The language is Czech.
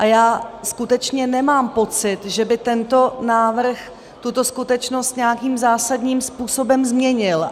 A já skutečně nemám pocit, že by tento návrh tuto skutečnost nějakým zásadním způsobem změnil.